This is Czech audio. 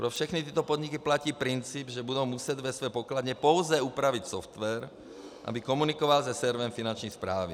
Pro všechny tyto podniky platí princip, že budou muset ve své pokladně pouze upravit software, aby komunikoval se serverem Finanční správy.